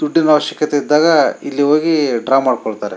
ದುಡ್ಡಿನ ಅವಶ್ಯಕತೆ ಇದ್ದಾಗ ಇಲ್ಲಿ ಹೋಗಿ ಡ್ರಾ ಮಾಡ್ಕೊಳ್ತಾರೆ --